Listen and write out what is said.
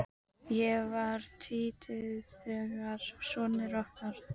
Ég var tvítug þegar sonur okkar